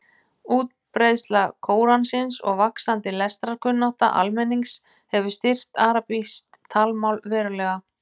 Útbreiðsla Kóransins og vaxandi lestrarkunnátta almennings hefur styrkt arabískt talmál verulega.